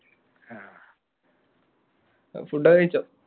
food ഒക്കെ കഴിച്ചോ?